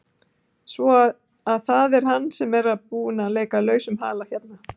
Svo að það er hann sem er búinn að leika lausum hala hérna!